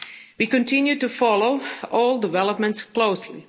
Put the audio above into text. meetings. We continue to follow all developments